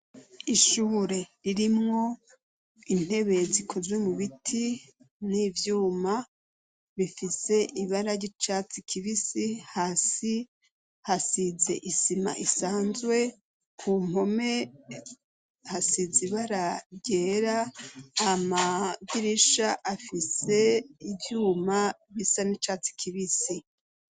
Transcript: ishure ririmwo intebe zikozwe mu biti n'ivyuma bifise ibara ry'icatsi kibisi hasi hasize isima isanzwe ku mpome hasize ibara ryera amadirisha afise ivyuma bisa n'icatsi kibisi